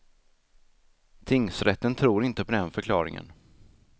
Tingsrätten tror inte på den förklaringen.